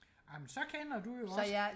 amen så kender du jo også